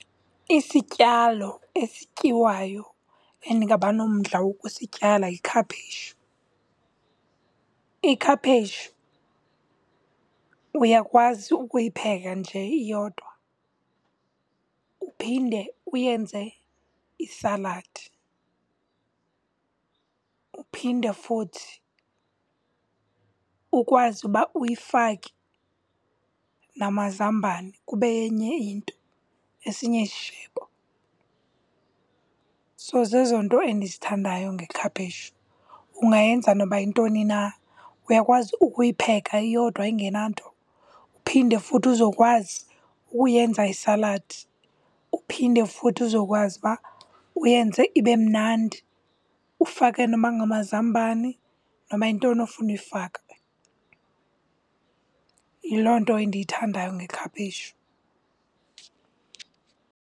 Isityalo esityiwayo endingaba nomdla wokusityala yikhaphetshu. Ikhaphetshu uyakwazi ukuyipheka nje iyodwa uphinde uyenze isaladi. Uphinde futhi ukwazi uba uyifake namazambane kube yenye into, esinye isishebo. So, zezo nto endizithandayo ngekhapheshu, ungayenza noba yintoni na. Uyakwazi ukuyipheka iyodwa ingenanto, uphinde futhi uzokwazi ukuyenza isaladi. Uphinde futhi uzokwazi uba uyenze ibe mnandi, ufake noba ngamazambane noba yintoni ofuna uyifaka. Yiloo nto endiyithandayo ngekhapheshu.